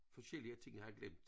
Forskellige ting jeg havde glemt